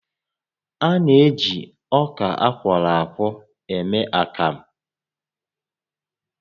A na-eji ọka akwọrọ akwọ eme akamụ